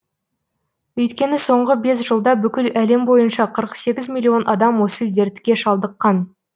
өйткені соңғы бес жылда бүкіл әлем бойынша қырық сегіз миллион адам осы дертке шалдыққан